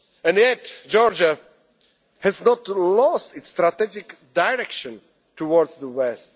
access to your family. And yet, Georgia has not lost its strategic direction